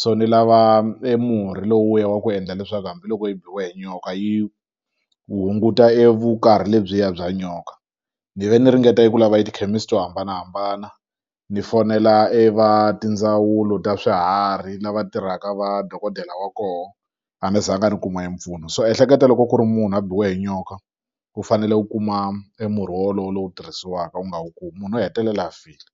so ni lava e murhi lowuya wa ku endla leswaku hambiloko yi biwe hi nyoka yi hunguta e vukarhi lebyiya bya nyoka ni ve ni ringeta eku lava etikhemisi to hambanahambana ni fonela e va tindzawulo ta swiharhi lava tirhaka va dokodela wa koho a ni zanga ni kuma e mpfuno so ehleketa loko ku ri munhu a biwe hi nyoka u fanele u kuma e murhi wolowo lowu tirhisiwaka u nga wu kumi munhu u hetelela file.